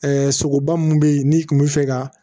sogoba mun be yen n'i kun mi fɛ ka